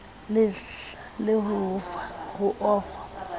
le hlahe ho o fa